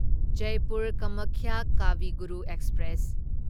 Jaipur Kamakhya Kavi Guru express